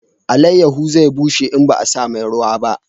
Alayaho zai bushe in ba a sa mai ruwa ba